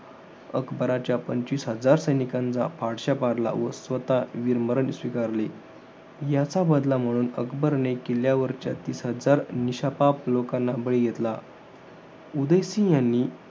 अकबराच्या पंचवीस हजार सैनिकांचा फडशा पाडला, व स्वतः वीरमरण स्वीकारले. याचा बदल म्हणून अकबराने किल्ल्यावरच्या तीस हजार निशपाप लोकांना बळी घेतला. उदयसिंह यांनी